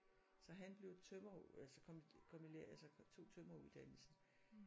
Så han blev tømrer altså komi kom i lære altså tog tømreruddannelsen